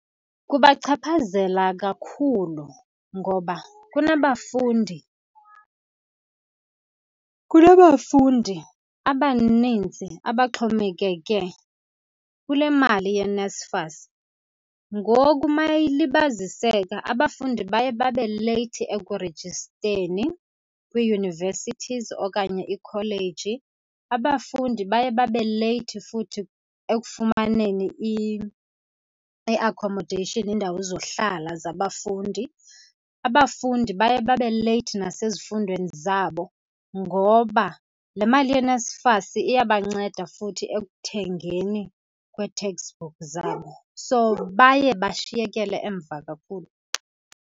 Kubachaphazela kakhulu, ngoba kunabafundi, kunabafundi abanintsi abaxhomekeke kule mali yeNSFAS. Ngoku uma ilibaziseka abafundi baye babe leyithi ekurejisteni kwii-universities okanye iikholeji. Abafundi baye babe leyithi futhi ekufumaneni i-accommodation, iindawo zohlala zabafundi. Abafundi baye babe leyithi nasezifundweni zabo, ngoba le mali yeNSFAS iyabanceda futhi ekuthengeni kwee-text book zabo. So, baye bashiyekele emva kakhulu.